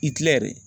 I tila yɛrɛ